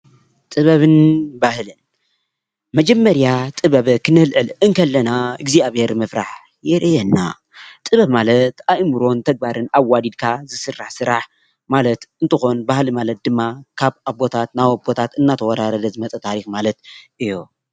ጥበብን ባህልን፦ መጀመርያ ጥበብ ክነልዕል ከለና እግዝኣቢሄር ምፍራሕ የሪአና፣ ጥበብ ማለት ኣእምሮን ተግባርን ኣዋዲድካ ዝስራሕ ስራሕ ማለት እንትኮን፣ ባህሊ ማለት ድማ ካብ ኣቦታት ናብ ኣቦታት እናተወራረደ ዝመፅ ታሪኽ ማለት እዩ።